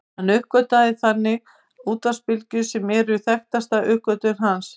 Hann uppgötvaði þannig útvarpsbylgjur sem eru þekktasta uppgötvun hans.